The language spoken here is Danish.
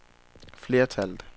flertallet